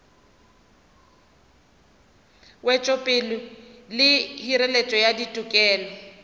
wetšopele le hireletšo ya ditokelo